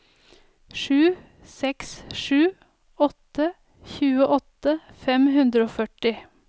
sju seks sju åtte tjueåtte fem hundre og førti